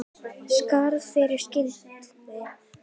Myndin fékk fremur slaka dóma.